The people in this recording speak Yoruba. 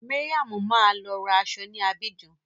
Mariam máa lọ ra aṣọ ní Abidjan.